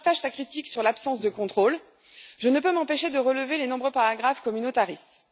Si je partage sa critique sur l'absence de contrôle, je ne peux m'empêcher de relever les nombreux paragraphes communautaristes.